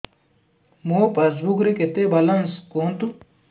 ମୋ ପାସବୁକ୍ ରେ କେତେ ବାଲାନ୍ସ କୁହନ୍ତୁ